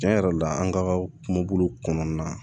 Tiɲɛ yɛrɛ la an ka kumabolo kɔnɔna na